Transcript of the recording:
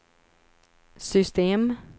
system